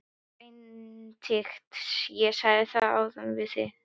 BENEDIKT: Ég sagði það áðan: Við erum.